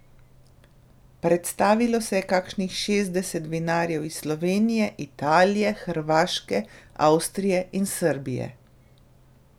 Predstavilo se je kakšnih šestdeset vinarjev iz Slovenije, Italije, Hrvaške, Avstrije in Srbije.